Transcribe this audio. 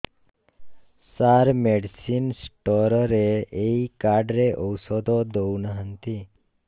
ସାର medicine store ରେ ଏଇ card ରେ ଔଷଧ ଦଉନାହାନ୍ତି